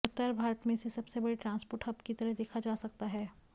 उत्तर भारत में इसे सबसे बड़े ट्रांसपोर्ट हब की तरह देखा जा सकता है